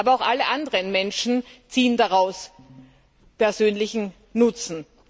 Aber auch alle anderen Menschen ziehen daraus persönlichen Nutzen.